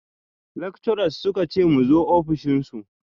Lectures suka ce mu zo ofishin su